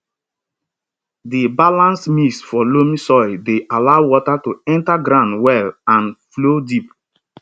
di balanced mix for loamy soil dey allow water to enter ground well and flow deep